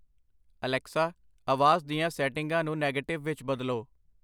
Alexa, ਆਵਾਜ਼ ਦੀਆਂ ਸੈਟਿੰਗਾਂ ਨੂੰ ਨੈਗੇਟਿਵ ਵਿੱਚ ਬਦਲੋ।